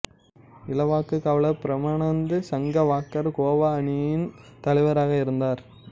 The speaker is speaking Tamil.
இலக்குக் காவலர் பிரமானந்து சங்வாக்கர் கோவா அணியின் தலைவராக இருந்தார்